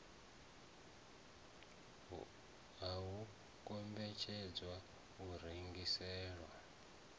ha u kombetshedzwa u rengiselwa